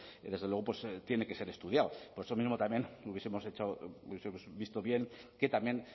desde luego tiene que ser estudiado por eso mismo también hubiesemos visto bien que también